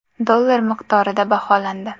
dollar miqdorida baholandi.